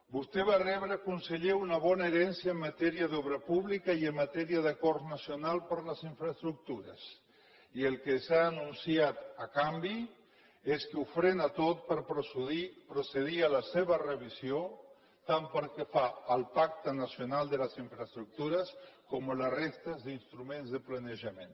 vostè va rebre conseller una bona herència en matèria d’obra pública i en matèria d’acords nacionals per les infraestructures i el que s’ha anunciat a canvi és que ho frena tot per procedir a la seva revisió tant pel que fa al pacte nacional de les infraestructures com a la resta d’instruments de planejament